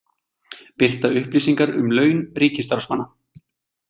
Birta upplýsingar um laun ríkisstarfsmanna